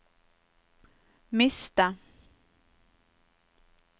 miste